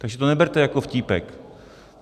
Takže to neberte jako vtípek.